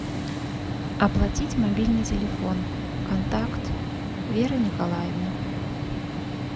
оплатить мобильный телефон контакт вера николаевна